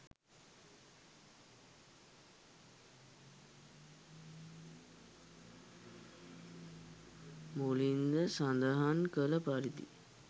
මුලින්ද සඳහන් කළ පරිදි